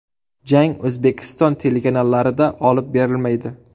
Jang O‘zbekiston telekanallarida olib berilmaydi.